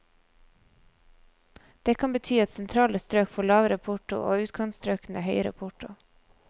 Det kan bety at sentrale strøk får lavere porto og utkantstrøkene høyere porto.